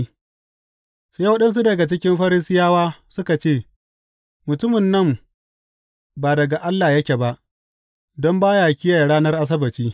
Sai waɗansu daga cikin Farisiyawa suka ce, Mutumin nan ba daga Allah yake ba, don ba ya kiyaye ranar Asabbaci.